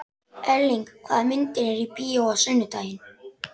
Erling, hvaða myndir eru í bíó á sunnudaginn?